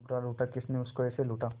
लूटा लूटा किसने उसको ऐसे लूटा